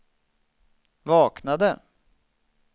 vaknade